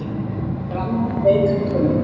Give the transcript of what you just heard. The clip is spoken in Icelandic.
Grannan, veikan tón.